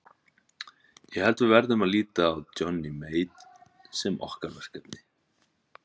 Ég held að við verðum að líta á Johnny Mate sem okkar verkefni.